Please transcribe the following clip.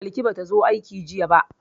Balki ba ta zo aiki jiya ba.